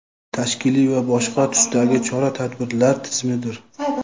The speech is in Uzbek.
tashkiliy va boshqa tusdagi chora-tadbirlar tizimidir.